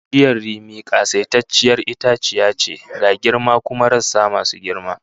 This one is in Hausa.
Bishiyar rimi kasaitacciyar itaciya ce, ga girma cda kuma rassa masu girma